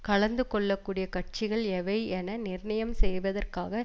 கலந்து கொள்ளக்கூடியக் கட்சிகள் எவை என நிர்ணயம் செய்வதற்காக